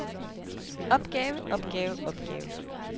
opgave opgave opgave